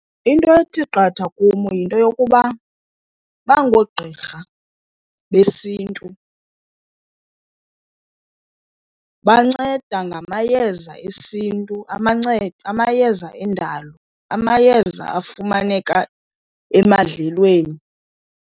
Into ethi qatha kum yinto yokuba bangoogqirha besiNtu. Banceda ngamayeza esiNtu, amayeza endalo, amayeza afumaneka emadlelweni.